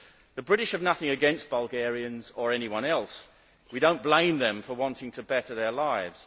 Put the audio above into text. The British have nothing against Bulgarians or anyone else we do not blame them for wanting to better their lives.